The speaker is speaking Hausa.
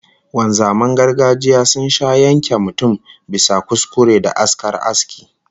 Wanzaman gargajiya sun sha yanke mutum bisa kuskure da askar aski